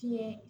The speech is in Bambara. Tiɲɛ